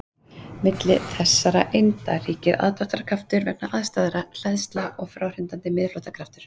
Milli þessara einda ríkir aðdráttarkraftur vegna andstæðra hleðsla og fráhrindandi miðflóttakraftur.